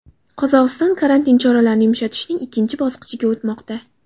Qozog‘iston karantin choralarini yumshatishning ikkinchi bosqichiga o‘tmoqda.